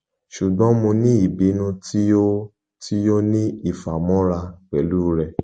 ṣugbọn mo ni ibinu ti o ti o ni ifamọra pẹlu rẹ